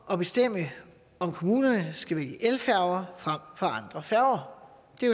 at bestemme om kommunerne skal vælge elfærger frem for andre færger det